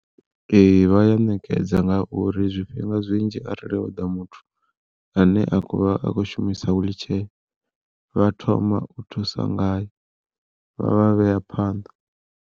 Ee vha ya ṋekedza ngauri zwifhinga zwinzhi arali ho ḓa muthu ane a khou vha a khou shumisa wiḽitshee vha thoma u thusa ngae vha vha vhea phanḓa.